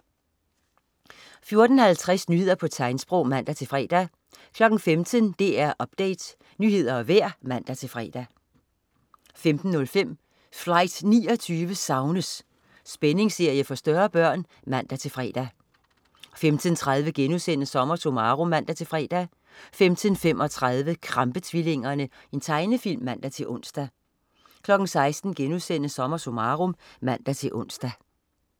14.50 Nyheder på tegnsprog (man-fre) 15.00 DR Update. Nyheder og vejr (man-fre) 15.05 Flight 29 savnes! Spændingsserie for større børn (man-fre) 15.30 SommerSummarum* (man-fre) 15.35 Krampe-tvillingerne. Tegnefilm (man-ons) 16.00 SommerSummarum* (man-ons)